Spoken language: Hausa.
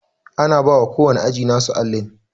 Ana bawa ko wanne ajin nasu allin